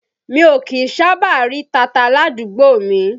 Mi ò kí ń sábà rí tata ládùúgbò mi